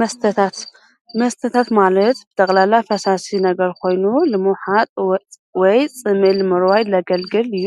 መስተታት መስተታት ማለት ጠቕላላ ፈሳሲ ነገር ኮይኑ፣ ንምውሓጥ ወይ ፅምኢ ንምርዋይ ዘገልግል እዩ።